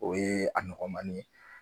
O ye a nɔgɔmanin ye.